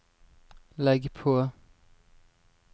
legg på